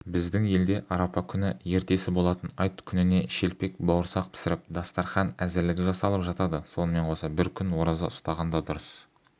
біздің елде арапа күні ертесі болатын айт күніне шелпек-бауырсақ пісіріп дастархан әзірлігі жасалып жатады сонымен қоса бір күн ораза ұстағанда дұрыс